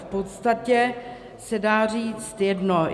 V podstatě se dá říct jedno.